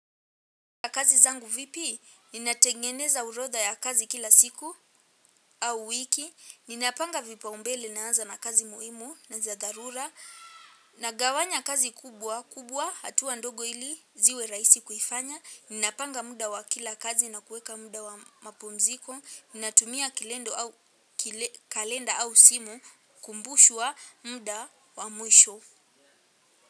Kazi zangu vipi? Ninatengeneza orodha ya kazi kila siku au wiki. Ninapanga vipaumbele, naanza na kazi muhimu na za dharura. Nagawanya kazi kubwa, kubwa hatuwa ndogo, ili ziwe rahisi kufanya. Ninapanga muda wa kila kazi na kuweka muda wa mapumziko. Ninatumia kalenda au simu kukumbushwa muda wa mwisho.